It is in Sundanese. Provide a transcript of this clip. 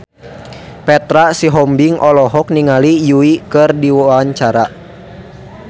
Petra Sihombing olohok ningali Yui keur diwawancara